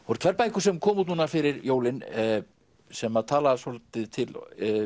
voru tvær bækur sem komu út núna fyrir jólin sem að tala svolítið til